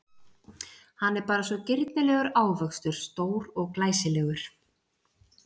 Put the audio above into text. Hann er bara svo girnilegur ávöxtur, stór og glæsilegur.